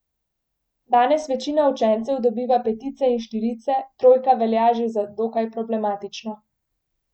Danes večina učencev dobiva petice in štirice, trojka velja že za dokaj problematično.